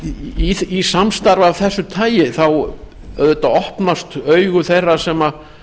framtíðinni í samstarfi af þessu tagi opnast augu þeirra sem